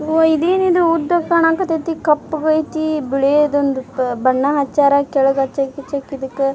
ಅವ್ವ ಇದೇನಿದು ಉದ್ದಕ್ ಕಾಣಕತೈತಿ ಕಪ್ಪಗೈತಿ ಬಿಳಿದ್ ಒಂದು ಬಣ್ಣ ಹಚ್ಚಾರ್ ಕೆಳಗ್ ಹಚ್ಚಕ್ ಗಿಚ್ಚ ಕ್ ಇದಕ್.